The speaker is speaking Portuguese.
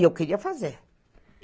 E eu queria fazer.